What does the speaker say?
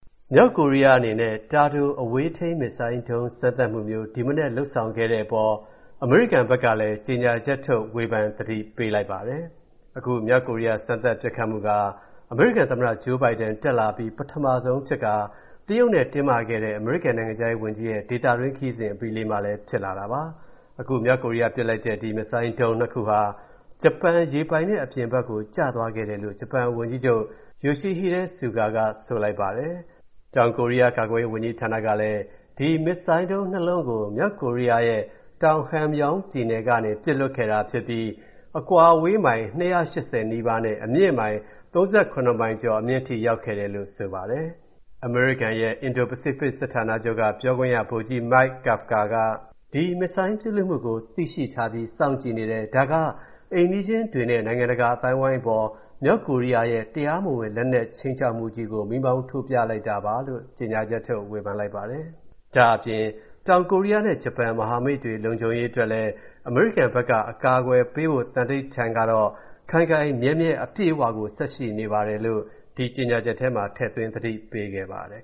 မြောက်ကိုရီးယားအနေနဲ့ တာတိုပစ် ပဲ့ထိန်းဒုံးကျည် စမ်းသပ်မှု ဒီမနက်လုပ်ဆောင်ခဲ့တဲ့အပေါ် အမေရိကန်ဘက်ကလည်း ပြန်ဝေဖန်သတိပေးလိုက်ပါတယ်။ အခုမြောက်ကိုရီးယား စမ်းသပ်ပစ်ခတ်မှုက အမေရိကန်သမ္မတ Joe Biden တက်လာအပြီး ပထမဆုံးဖြစ်ခါ တရုတ်နဲ့တင်းမာစွာ ဆွေးနွေးမှုတွေ ဖြစ်ပေါ်ခဲ့တဲ့ အမေရိကန်နိုင်ငံခြားရေးဝန်ကြီးရဲ့ ဒေသတွင်း ခရီးစဉ်အပြီးလေးမှာလည်း ဖြစ်လာတာပါ။ အခု မြောက်ကိုရီးယားပစ်လိုက်တဲ့ ဒီ ပဲ့ထိန်းဒုံးကျည် နှစ် ခုဟာ ဂျပန်ရေပိုင်နက်အပြင်ဘက်ကို ကျသွားခဲ့တယ်လို့ ဂျပန်ဝန်ကြီးချုပ် Yoshihide Suga က ဆိုပါတယ်။ တောင်ကိုရီးယား ကာကွယ်ရေးဝန်ကြီးဌာနကလည်း ဒီ ပဲ့ထိန်းဒုံးကျည် နှစ် လုံးကို မြောက်ကိုရီးယားရဲ့ တောင် Hamgyong ပြည်နယ်ကနေ ပစ်လွှတ်ခဲ့တာဖြစ်ပြီး အကွာအဝေးမိုင် ၂၈၀ နီးပါးနဲ့ အမြင့်မိုင် ၃၇ မိုင်ကျော်အထိ ရောက်ခဲ့တယ်လို့ ဆိုပါတယ်။ အမေရိကန်ရဲ့ အင်ဒို-ပစိဖိတ်စစ်ဌာနချုပ်က ပြောခွင့်ရ ဗိုလ်ကြီး Mike Kafka က ဒီဒုံးကျည်ပစ်လွှတ်မှုကို သိထားပြီး စောင့်ကြည့်နေတယ်။ ဒါက အိမ်နီးချင်းတွေနဲ့ နိုင်ငံတကာအသိုင်းအဝိုင်းအပေါ် မြောက်ကိုရီးယားရဲ့ တရားမဝင်လက်နက်ခြိမ်းခြောက်မှုကြီးကို မီးမောင်း ထိုးပြလိုက်တာပါလို့ ကြေညာချက်ထုတ်ဝေဖန်လိုက်ပါတယ်။ ဒါ့အပြင် တောင်ကိုရီးယားနဲ့ ဂျပန် မဟာမိတ်တွေလုံခြုံရေးအတွက် အမေရိကန်ဘက်က အကာအကွယ်ပေးဖို့ သန္တိဌာန်ကတော့၊ ခိုင်ခိုင်မြဲမြဲ အပြည့်အဝကို ဆက်ရှိနေပါတယ်လို့လည်း၊ ဒီကြေညာချက်ထဲမှာ ထည့်သွင်း သတိပေးခဲ့ပါတယ်